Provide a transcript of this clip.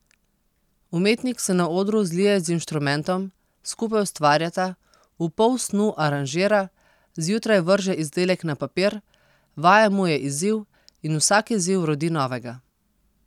Umetnik se na odru zlije z inštrumentom, skupaj ustvarjata, v polsnu aranžira, zjutraj vrže izdelek na papir, vaja mu je izziv in vsak izziv rodi novega ...